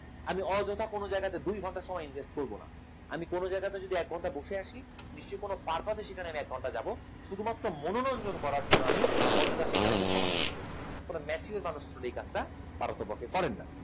আমি অযথা কোনো জায়গাতে দু'ঘণ্টা সময় invest করবো না। আমি কোন জায়গাতে যদি এক ঘন্টা বসে আসি নিশ্চয়ই কোন সেখানে এক ঘন্টায় যাব, শুধুমাত্র মনোরঞ্জন করার জন্য আমি অযথা সেখানে গিয়ে সময় নষ্ট করবো না কোন mature মানুষ এই কাজটা পারো তো পক্ষে করেন না।